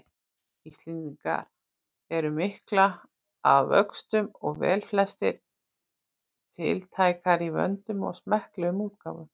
Íslendinga eru miklar að vöxtum og velflestar tiltækar í vönduðum og smekklegum útgáfum.